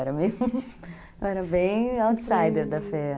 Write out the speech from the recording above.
Eu era bem outsider da Fé.